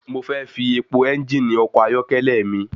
Mo fẹ́ fi epo ẹ́ngìnì ọkọ̀ ayọ́kẹ́lẹ́ mi.